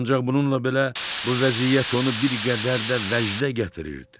Ancaq bununla belə bu vəziyyət onu bir qədər də vəcdə gətirirdi.